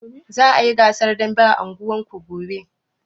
Za a yi gasar dambe a unguwarku gobe?